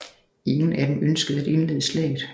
Ingen af dem ønskede at indlede slaget